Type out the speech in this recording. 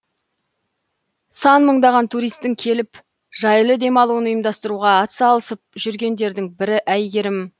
сан мыңдаған туристтің келіп жайлы демалуын ұйымдастыруға атсалысып жүргендердің бірі әйгерім